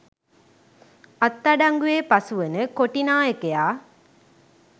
අත්අඩංගුවේ පසුවන කොටිනායකයා